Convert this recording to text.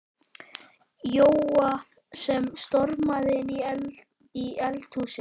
Jóa sem stormaði inn í eldhúsið.